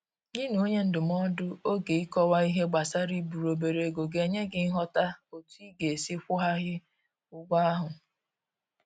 Gị na onye ndụmọdụ oge Ịkọwa ihe gbasara iburu obere ego ga enye gị nghọta otu ị ga-esi kwụ ghaghị ụgwọ ahụ.